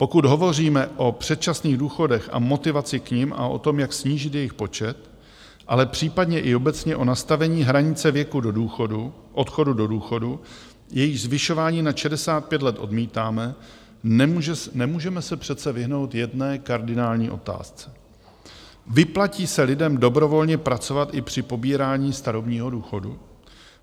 Pokud hovoříme o předčasných důchodech a motivaci k nim a o tom, jak snížit jejich počet, ale případně i obecně o nastavení hranice věku odchodu do důchodu, jejíž zvyšování nad 65 let odmítáme, nemůžeme se přece vyhnout jedné kardinální otázce: Vyplatí se lidem dobrovolně pracovat i při pobírání starobního důchodu?